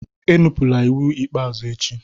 Enupụla iwu ikpeazụ echi!